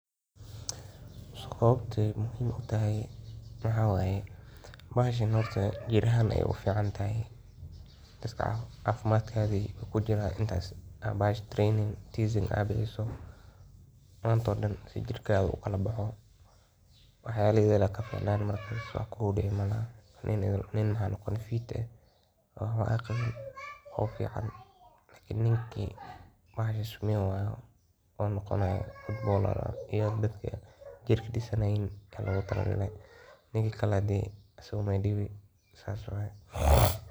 Sababtay muhiim u tahay maxa waye bahashan horta jir ahan ay u fiican tahay is caafimaadkaagii ku jira intaas aa bahash daremayn training tizing aa bihiso maantoo oo dhan si jirka u kala baxo wax yala idil aya kaficnaani markas wax kugu dhici malaha nin maxa noqoni fit eh oo waxba aan qawiin oo fiican laakiin ninkii bahasha sameyn wayo oo noqonayo footbaler iyo dadka jirka disanaiin aya logu taragale ninkii kale dee asaga uu baay diwi sas waye.